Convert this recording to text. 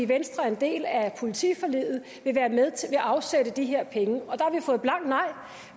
venstre er en del af politiforliget vil afsætte de her penge og